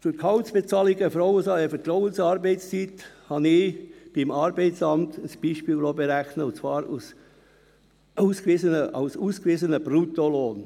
Für die Gehaltsbezahlungen bei Vertrauensarbeitszeit habe ich vom Arbeitsamt ein Beispiel berechnen lassen und zwar als ausgewiesenen Bruttolohn.